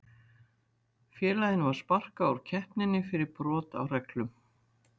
Félaginu var sparkað úr keppninni fyrir brot á reglum.